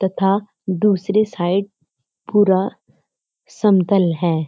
तथा दूसरी साइड पूरा समतल है।